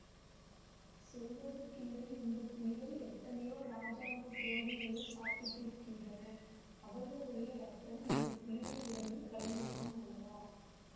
சொல்வதற்கில்லை இந்த புலிகள் எத்தனையோ இராஜாங்கத் துரோகிகளைச் சாப்பிட்டிருக்கின்றன அவர்களுடைய இரத்தம் இந்த புலிகள் உடம்பில் கலந்திருக்கும் அல்லவா